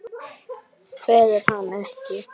Kveður hann ekki.